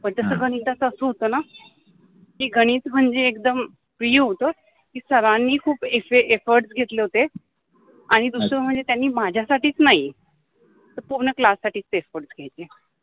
जस कोनि अस होत न कि गणीत मनजे एकदम प्रिय होत कि सरानि खुप इफर्ट्स घेतले होते आणि दुसर मनजे त्यानि माझ्यासाठिच नाहि तर पुर्ण क्लाससाठिच इफर्ट्स घेतले.